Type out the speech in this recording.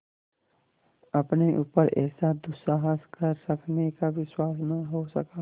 अपने ऊपर ऐसा दुस्साहस कर सकने का विश्वास न हो सका